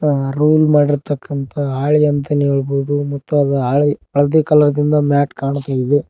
Roll ಮಾಡಿರ್ತಕಂತಹ ಹಾಳೆ ಅಂತಾಲೆ ಹೇಳ್ಬಹುದು ಮತ್ತು ಅ ಹಾಳೆ ಹಳದಿ ಕಲರ್ ದಿಂದ ಮ್ಯಾಟ ನಂತೆ ಕಾಣಿಸುತ್ತಿದೆ.